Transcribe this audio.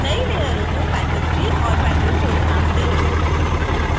नई लेयरों को petal_3 और petal_4 नाम दें